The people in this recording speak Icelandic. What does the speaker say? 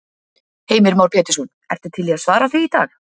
Heimir Már Pétursson: Ertu til í að svara því í dag?